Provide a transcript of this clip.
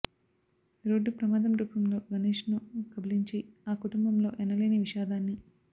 road ప్రమాదం రూపంలో గణేష్ను కబలించి ఆ కుటుంబంలో ఎనలేని విషాదాన్ని